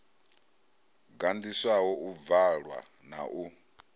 gandiswaho u bvalwa na u